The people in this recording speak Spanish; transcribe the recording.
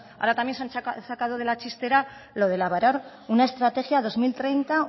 ahora también se han sacado de la chistera lo de elaborar una estrategia dos mil treinta